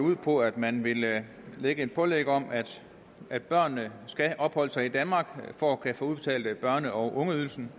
ud på at man vil lave et pålæg om at børnene skal opholde sig i danmark for at børne og ungeydelsen